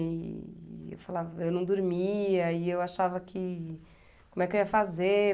E e eu falava, eu não dormia e eu achava que... Como é que eu ia fazer?